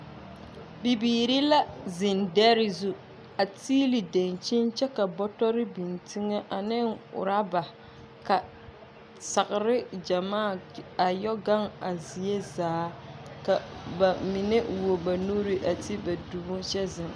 Bibiiri la zeŋ dԑre zu a tiili daŋkyini kyԑ ka bͻtͻre biŋ teŋԑ ane oraba ka sagere gyamaa a yͻ gaŋ a zie zaa. Ka ba mine wuo ba nuuri a te ba dumo a kyԑ zeŋ.